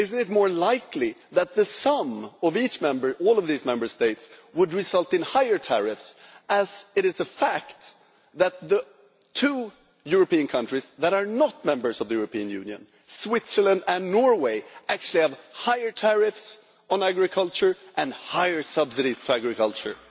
Is it not more likely that the sum of all of these Member States would result in higher tariffs, as it is a fact that the two European countries that are not members of the European Union Switzerland and Norway actually have higher tariffs on agriculture and higher subsidies for agriculture?